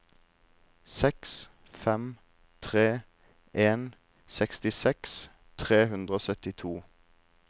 seks fem tre en sekstiseks tre hundre og syttito